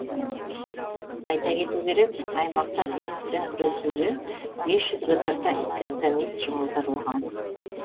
айта кету керек аймақта вируспен күресуге бес жүзге тарта инфекционист жұмылдырылған